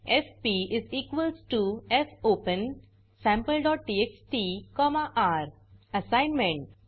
FP fopensampleटीएक्सटी र assignment